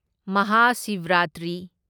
Mahashivratri